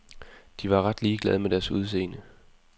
De var ret ligeglade med deres udseende.